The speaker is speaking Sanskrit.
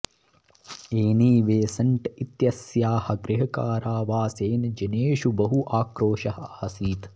एनी बेसन्ट् इत्यस्याः गृहकारावासेन जनेषु बहु आक्रोशः आसीत्